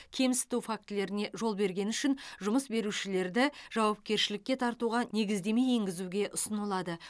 кемсіту фактілеріне жол бергені үшін жұмыс берушілерді жауапкершілікке тартуға негіздеме енгізуге ұсынылады